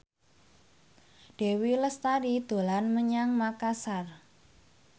Dewi Lestari dolan menyang Makasar